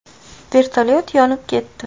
Vertolyot yonib ketdi.